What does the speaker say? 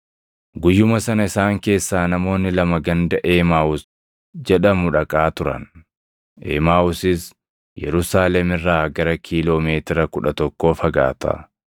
Guyyuma sana isaan keessaa namoonni lama ganda Emaaʼuus jedhamu dhaqaa turan; Emaaʼuusis Yerusaalem irraa gara kiiloo meetira kudha tokkoo fagaata.